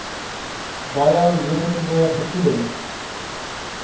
baie negatiewe gevoelens